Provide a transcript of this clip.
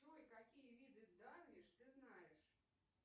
джой какие виды дарвиш ты знаешь